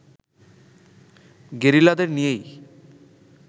গেরিলাদের নিয়েই